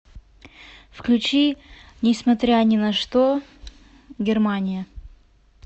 включи не смотря ни на что германия